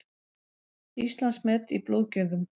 Íslandsmet í blóðgjöfum